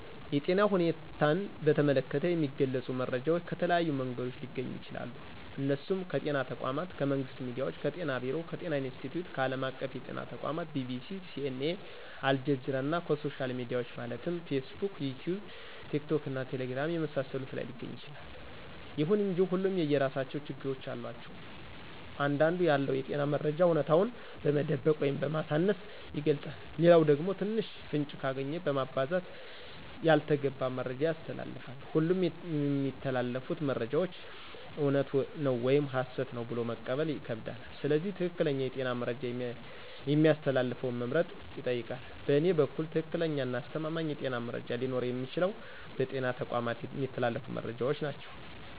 የጤና ሁኔታን በተመለከተ የሚገልጹ መረጃዎች ከተለያዩ መንገዶች ሊገኙ ይችላሉ እነሱም ከጤና ተቋማት :ከመንግስት ሚዲያዎች :ከጤና ቢሮ :ከጤና ኢንስትቲዮት :ከአለም አቀፍ የጤና ተቋማት :BBC :CNA :አልጀዚራና ከሶሻል ሚዲያዎች ማለትም ፌስቡክ: ይቲዩብ :ቲክቶክና ቴሌግራም የመሳሰሉት ላይ ሊገኝ ይችላል። ይሁን እንጂ ሁሉም የየራሳቸው ችግሮች አሏቸው አንዳንዱ ያለውን የጤና መረጃ አውነታውን በመደበቅ ወይም በማሳነስ ይገልጻል ሌላኛው ደግሞ ትንሽ ፍንጭ ካገኘ በማባዛት ያልተገባ መረጃ ያስተላልፋል ሁሉም የሚተላለፉት መረጃዎች እውነት ነው ወይም ሀሰት ነው ብሎ መቀበል ይከብዳል ስለዚህ ትክክለኛ የጤና መረጃ የሚያስተላልፈውን መምረጥ ይጠይቃል በእኔ በኩል ትክክለኛና አስተማማኝ የጤና መረጃ ሊኖረው የሚችለው በጤና ተቋማት የሚተላለፉት መረጃዎች ናቸው